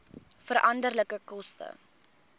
veranderlike koste